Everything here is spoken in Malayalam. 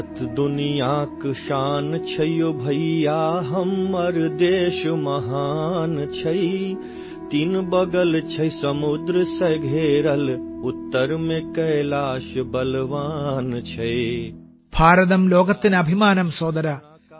ഭാരതം ലോകത്ത്തിനഭ്മാനം സോദരാ